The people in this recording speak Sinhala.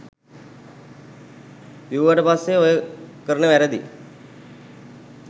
බිව්වට පස්සෙ ඔය කරන වැරදි